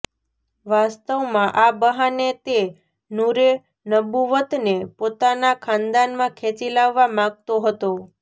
વાસ્તવમાં આ બહાને તે નૂરે નુબુવ્વતને પોતાના ખાનદાનમાં ખેંચી લાવવા માંગતો હતો